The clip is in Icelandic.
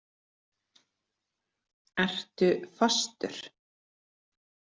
Ertu fastur?